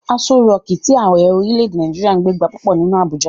Aso rọọ̀kí tí Ààrẹ orílè-èdè Nàìjíríà ń gbé gba púpọ̀ nínú Abuja.